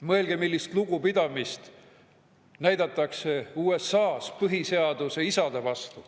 Mõelge, millist lugupidamist näidatakse USA‑s üles põhiseaduse isade vastu.